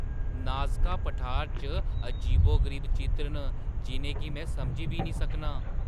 Nazca पठार च अजीबो-गरीब चित्र न जिʼनें गी में समझी बी नेईं सकनां!